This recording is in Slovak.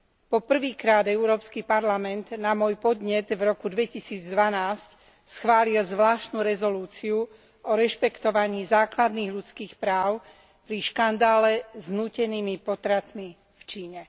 Po prvýkrát Európsky parlament na môj podnet vroku 2012 schválil zvláštnu rezolúciu o rešpektovaní základných ľudských práv pri škandále s nútenými potratmi v Číne.